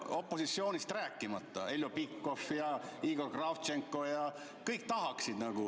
Opositsioonist rääkimata: Heljo Pikhof, Igor Kravtšenko, kõik tahaksid.